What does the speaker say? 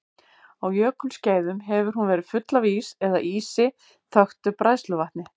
Á jökulskeiðum hefur hún verið full af ís eða ísi þöktu bræðsluvatni.